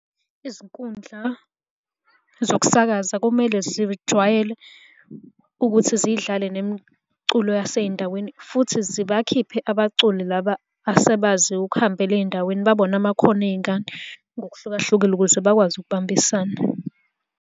Izinkundla zokusakaza komele zijwayele ukuthi zidlale nemiculo yasey'ndaweni futhi zibakhiphe abaculi laba asebaziwa ukuhambela ey'ndaweni babone amakhono ey'ngane ngokuhlukahlukile ukuze bakwazi ukubambisana.